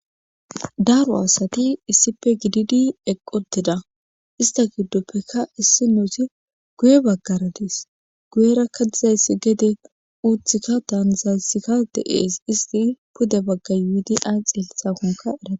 daaro asati issife gididi eqqo deda ista giddoppekka issi noosi guye baggaradis guyerakka dizayssi gede uuthikka taanzayssikka de7ees isti pude bagga yuudi a xeelithakonka era